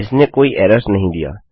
इसने कोई एरर्स नहीं दिया